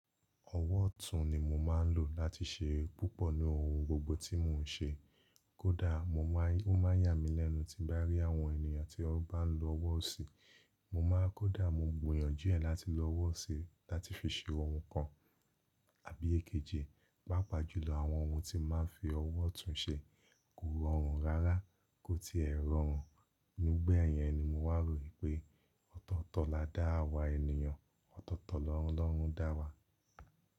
Ọwọ́ ọ̀tún ni mo máa ń lò láti ṣe púpọ̀ ní ohun gbogbo tí mò ń ṣe. Kódà ó máa yà mí lẹ́nu tí bá rí àwọn ènìyàn tí ó bá ń lo ọwọ́ ọ̀sì. Mo máa kódà mò ń gbìyànjú ẹ̀ láti lo ọwọ́ ọ̀sì láti fi ṣe ohun kan àbí èkejì. Pápá jù lọ, àwọn ohun tí máa ń fi ọwọ́ ọ̀tún ṣe kò rọrùn rárá kó tí ẹ rọrùn. Nígbà yẹn ni mo wá ro wipé ọ̀tọ̀ọ̀tọ̀ lá dá awa ènìyàn, ọ̀tọ̀ọ̀tọ̀ lọ́ọ̀lorun dá wa.